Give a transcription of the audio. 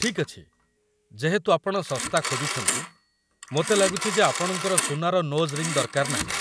ଠିକ୍ ଅଛି, ଯେହେତୁ ଆପଣ ଶସ୍ତା ଖୋଜୁଛନ୍ତି, ମୋତେ ଲାଗୁଛି ଯେ ଆପଣଙ୍କର ସୁନାର ନୋଜ୍ ରିଙ୍ଗ୍ ଦରକାର ନାହିଁ ।